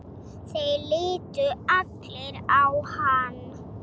Þeir litu allir á hann.